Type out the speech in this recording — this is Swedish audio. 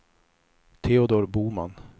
Teodor Boman